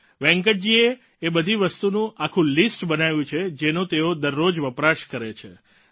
વેંકટજીએ એ બધી વસ્તુનું આખું લીસ્ટ બનાવ્યું છે જેનો તેઓ દરરોજ વપરાશ કરે છે